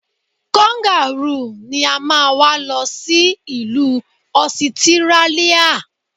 Kangarúù ni a máa wá lọ sí ìlú Ọsitírálíà.